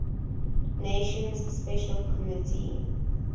nations special committee